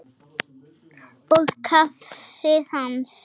Og kaffið hans?